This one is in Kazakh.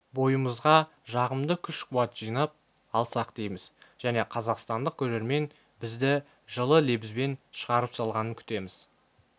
бойымызға жағымды күш-қуат жинап алсақ дейміз және қазақстандық көрермен бізді жылы лебізбен шығарып салғанын күтеміз